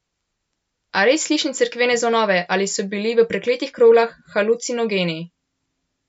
A res slišim cerkvene zvonove ali so bili v prekletih kroglah halucinogeni?